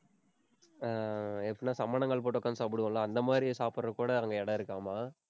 அஹ் ஏற்கனவே சம்மணங்கால் போட்டு உட்கார்ந்து சாப்பிடுவோம்ல? அந்த மாதிரி சாப்பிடறதுக்கு கூட, அங்க இடம் இருக்காமா